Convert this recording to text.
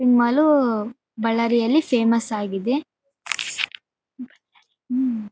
Mall ಬಳ್ಳಾರಿಯಲ್ಲಿ famous ಆಗಿದೆ .